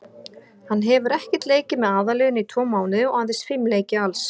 Hann hefur ekkert leikið með aðalliðinu í tvo mánuði og aðeins fimm leiki alls.